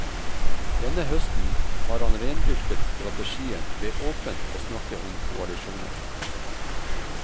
Denne høsten har han rendyrket strategien ved åpent å snakke om koalisjoner.